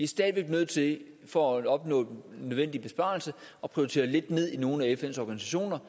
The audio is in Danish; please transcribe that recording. stadig væk nødt til for at opnå den nødvendige besparelse at prioritere nogle af fns organisationer